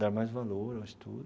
dar mais valor ao estudo.